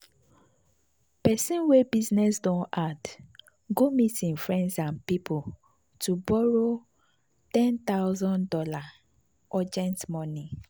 person wey business don hard go meet im friends and people to borrow one thousand dollars0 urgent money.